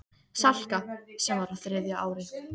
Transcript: Salka, sem var á þriðja ári.